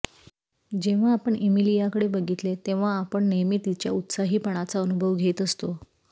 जेव्हा आपण इमिलिया कडे बघितले तेव्हा आपण नेहमी तिच्या उत्साहीपणाचा अनुभव घेत असतो